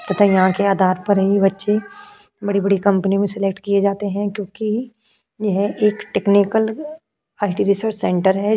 तथा यहाँ के आधार पर यही बच्चे बड़ी-बड़ी कंपनी मे सिलेक्ट किए जाते हैं क्युंकी यह एक टेक्निकल सेंटर है।